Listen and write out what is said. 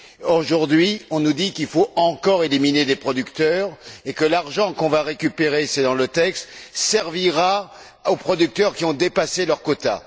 Et aujourd'hui, on nous dit qu'il faut encore éliminer des producteurs et que l'argent que l'on va récupérer cela figure dans le texte servira aux producteurs qui ont dépassé leur quota.